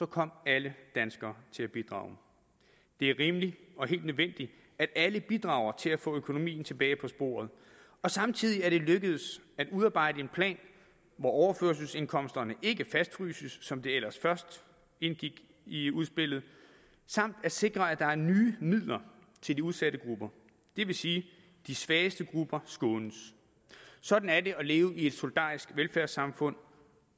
kom alle danskere til at bidrage det er rimeligt og helt nødvendigt at alle bidrager til at få økonomien tilbage på sporet og samtidig er det lykkedes at udarbejde en plan hvor overførselsindkomsterne ikke fastfryses som det ellers først indgik i udspillet samt sikre at der er nye midler til de udsatte grupper det vil sige at de svageste grupper skånes sådan er det at leve i et solidarisk velfærdssamfund